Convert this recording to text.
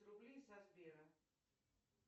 рублей со сбера